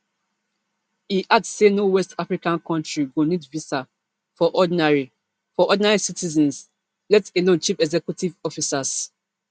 e add say no west african country go need visa for ordinary for ordinary citizens let alone chief executive officers